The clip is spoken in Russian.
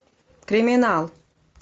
криминал